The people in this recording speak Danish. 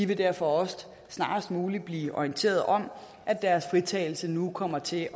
derfor også snarest muligt blive orienteret om at deres fritagelse nu kommer til